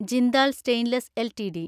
Jindal stainless LTD